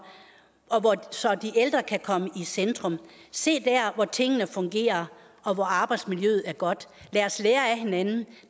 så de ældre kan komme i centrum se der hvor tingene fungerer og hvor arbejdsmiljøet er godt lad os lære af hinanden